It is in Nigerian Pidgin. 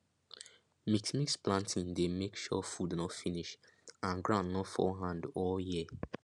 mixmix planting dey make sure food nor finish and ground nor fall hand all year